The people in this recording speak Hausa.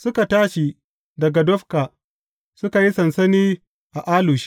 Suka tashi daga Dofka, suka yi sansani a Alush.